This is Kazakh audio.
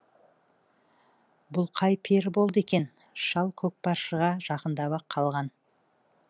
бұл қай пері болды екен шал көкпаршыға жақындап ақ қалған